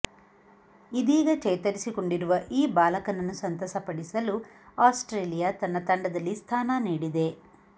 ಇದೀಗ ಚೇತರಿಸಿಕೊಂಡಿರುವ ಈ ಬಾಲಕನನ್ನು ಸಂತಸಪಡಿಸಲು ಆಸ್ಟ್ರೇಲಿಯಾ ತನ್ನ ತಂಡದಲ್ಲಿ ಸ್ಥಾನ ನೀಡಿದೆ